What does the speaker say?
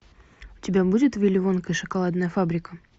у тебя будет вилли вонка и шоколадная фабрика